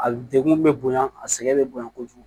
A degun bɛ bonya a sɛgɛn bɛ bonya kojugu